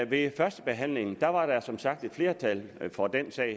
ved førstebehandlingen var der som sagt et flertal for den